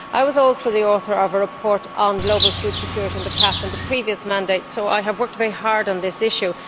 I was also the author of a report on global food security and the CAP in the previous mandate, so I have worked very hard on this issue.